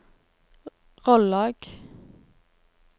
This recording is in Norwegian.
Rollag